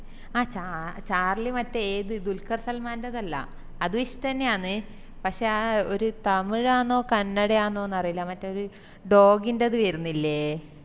അഹ് ച ചാർളി മറ്റെ ഏത് ദുൽഖർ സൽമാന്റേഡ്ത് അല്ല അത് ഇഷ്ട്ടന്നെയാന്ന് പക്ഷെ ആ ഒരു തമിഴ് ആന്നോ കന്നഡ ആന്നോന്ന് അറീല്ല മറ്റേത് dog ൻത് വെര്ന്നില്ലേ